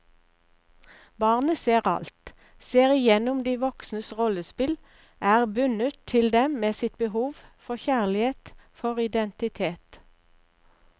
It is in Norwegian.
Barnet ser alt, ser igjennom de voksnes rollespill, er bundet til dem med sitt behov for kjærlighet, for identitet.